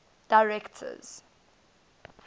directors